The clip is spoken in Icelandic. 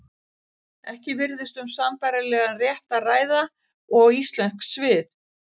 Ekki virðist um sambærilegan rétt að ræða og íslensk svið.